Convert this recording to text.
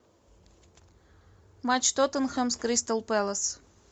матч тоттенхэм с кристал пэлас